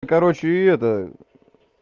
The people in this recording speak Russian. короче и это